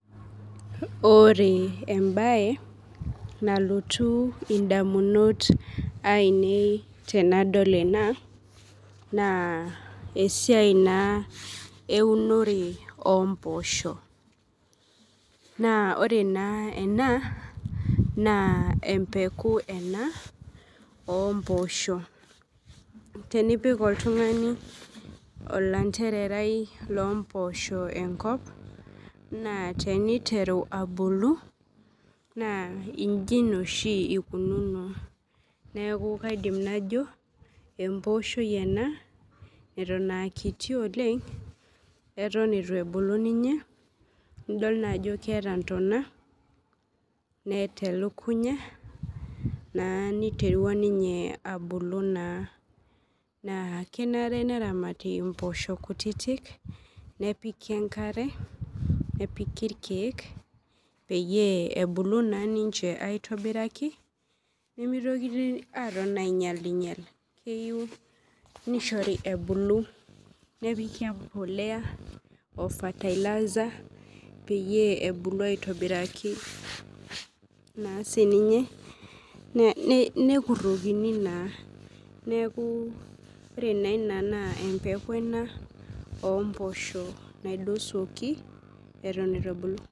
Ore embae nalotu ndamunot ainei tenadol ena na esiai na eunore omposho na ore na ena na empeku ena omposho tenipik oltungani ilandererai lompoosho enkop na teniteru abulu na iji na ikununo neaku kaidim najo empooshoi ena natan aakuti Oleng eton itu ebulu ninye nidol ajo keeta ntona neeta elukunya niterua ninye abulu na kenare mpoosho kutitik nepiki enkare nepiki irkiek pebulu ninche aitobiraki nemeyieu nitokini ainyal nishori nebulu nepiki empolea o fertiliser pebulu aitobiraki nassininye nekurokini naa neaku ore ena na empeku naompoisho naidosuoki atan ituebulu.